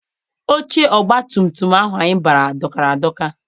Oche ọgbatumtum ahụ anyị bara dọkara adọka.